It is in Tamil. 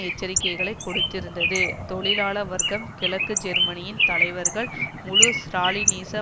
எச்சரிக்கைகளை கொடுத்திருந்தது தொழிலாள வர்க்கம் கிழக்கு ஜெர்மனியின் தலைவர்கள் முழு ஸ்ராலினிச